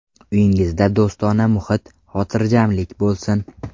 Uyingizda do‘stona muhit, xotirjamlik bo‘lsin!